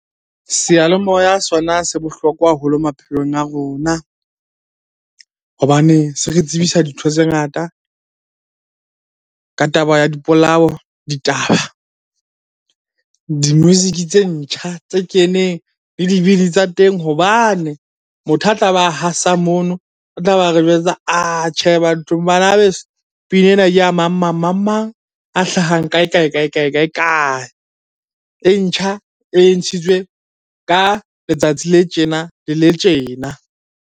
Seyalemoya sona se bohlokwa haholo maphelong a rona hobane se re tsebisa dintho tse ngata ka taba ya dipolao, ditaba, di-music tse ntjha tse keneng, le dibini tsa teng. Hobane motho a tlabe a hasa mono, o tlabe a re jwetsa banabeso pina ena ke a mang-mang, mang-mang a hlahang kae-kae, kae-kae, kae-kae. E ntjha e ntshitswe ka letsatsi le tjena le le tjena.